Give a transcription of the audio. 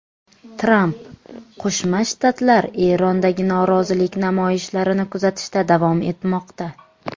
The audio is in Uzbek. Tramp: Qo‘shma Shtatlar Erondagi norozilik namoyishlarini kuzatishda davom etmoqda.